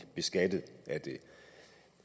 beskattet af det